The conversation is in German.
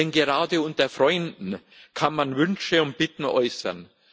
Denn gerade unter Freunden kann man Wünsche und Bitten äußern.